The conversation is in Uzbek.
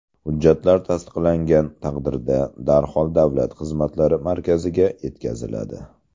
Hujjatlar tasdiqlangan taqdirda darhol davlat xizmatlari markaziga yetkaziladi.